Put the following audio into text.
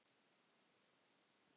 Þeir voru ekki mínir.